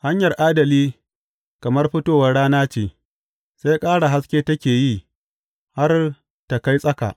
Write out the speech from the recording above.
Hanyar adali kamar fitowar rana ce, sai ƙara haske take yi, har ta kai tsaka.